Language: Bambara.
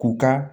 K'u ka